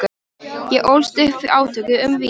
Ég ólst upp við átök um vín.